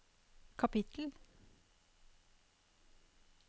kapittel